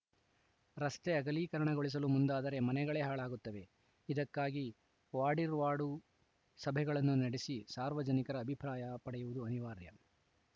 ರಸ್ತೆ ಅಗಲೀಕರಣಗೊಳಿಸಲು ಮುಂದಾದರೆ ಮನೆಗಳೇ ಹಾಳಾಗುತ್ತವೆ ಇದಕ್ಕಾಗಿ ವಾರ್ಡಿರ್ ವಾರು ಸಭೆಗಳನ್ನು ನಡೆಸಿ ಸಾರ್ವಜನಿಕರ ಅಭಿಪ್ರಾಯ ಪಡೆಯುವುದು ಅನಿವಾರ್ಯ